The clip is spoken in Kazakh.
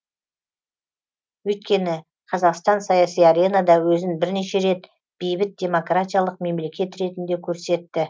өйткені қазақстан саяси аренада өзін бірнеше рет бейбіт демократиялық мемлекет ретінде көрсетті